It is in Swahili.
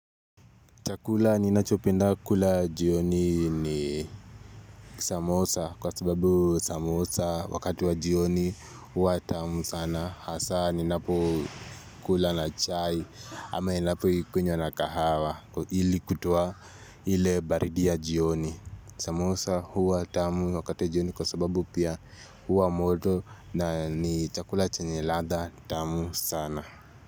Chakula ninachopenda kula jioni ni samosa kwa sababu samosa wakati wa jioni huwa tamu sana hasa ninapo kula na chai ama ninapo ikunywa na kahawa ili kutoaa ile baridi ya jioni Samosa huwa tamu wakati wa jioni kwa sababu pia huwa moto na ni chakula chenyeladha tamu sana.